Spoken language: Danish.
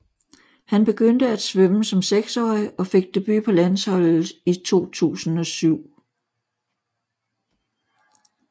Han begyndte at svømme som seksårig og fik debut på landsholdet i 2007